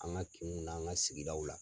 An ka kinw n'an ka sigidaw la.